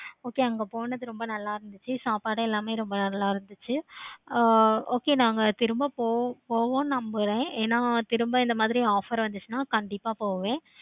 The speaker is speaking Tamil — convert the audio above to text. okay அங்க போனது ரொம்ப நல்ல இருந்துச்சி. சாப்பாடு எல்லாமே ரொம்ப நல்ல இருந்துச்சி. okay நாங்க திரும்ப போவோம் நம்புறேன். ஏன திரும்ப இந்த மாதிரி ஒரு offer வந்துச்சின்னா கண்டிப்பா போவேன்.